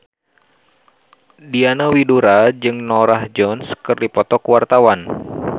Diana Widoera jeung Norah Jones keur dipoto ku wartawan